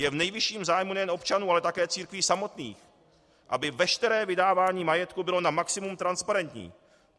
Je v nejvyšším zájmu nejen občanů, ale také církví samotných, aby veškeré vydávání majetku bylo na maximum transparentní.